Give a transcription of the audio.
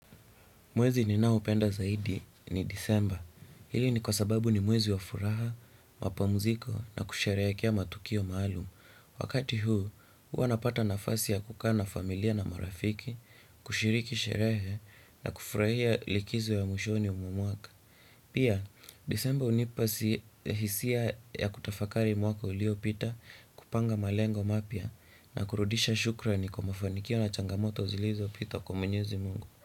Mwezi ninaopenda zaidi ni disemba. Hili ni kwa sababu ni mwezi wa furaha, mapamuziko na kusherehekea matukio maalumu. Wakati huu, hua napata nafasi ya kukaa na familia na marafiki, kushiriki sherehe na kufurahia likizo ya mwishoni mwa mwaka. Pia, disemba unipa hisia ya kutafakari mwaka uliopita kupanga malengo mapya na kurudisha shukrani kwa mafanikio na changamoto zilizo pita kwa mwenyezi mungu.